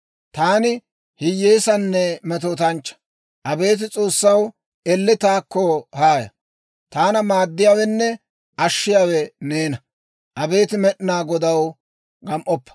Taani hiyyeessanne metootanchchaa; abeet S'oossaw, elle taakko haaya. Taana maaddiyaawenne ashshiyaawe neena; abeet Med'inaa Godaw, gam"oppa.